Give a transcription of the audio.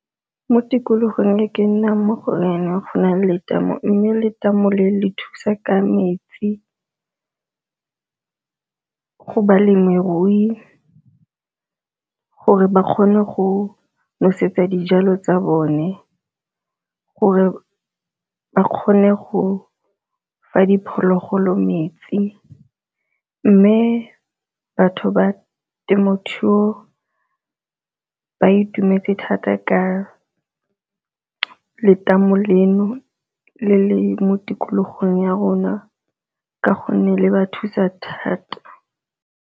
Mo tikologong e ke nnang mo go yona go na le tamo, mme letamo le le thusa ka metsi go balemirui gore ba kgone go nosetsa dijalo tsa bone gore ba kgone go fa diphologolo metsi. Mme batho ba temothuo ba itumetse thata ka letamo leno le le mo tikologong ya rona ka gonne le ba thusa thata.